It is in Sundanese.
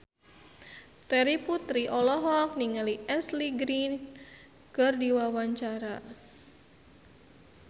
Terry Putri olohok ningali Ashley Greene keur diwawancara